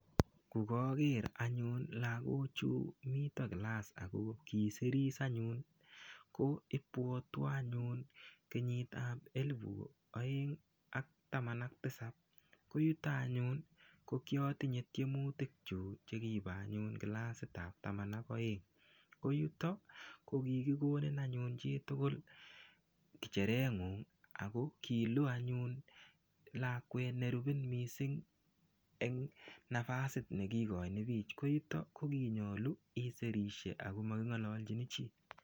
Kokoker anyun lokochu miten kilasa ako kosir anyun, ko imbwoteon anyun kenyitab elibut oeng ak taman ak tisab koyuton anyun ko kotinye tyemutik kyuk chekibo anyun kilasitab taman ak oeng koyuton ko kikikonin anyun chitukul ngecherengung ako kiloo anyun lakwet nerubin missing en nabasit nekikoin bik ko en yuton ko kinyolu isirishek ako mokingololjin chii.